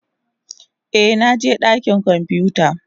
Eh, na je dakin kwamfuta.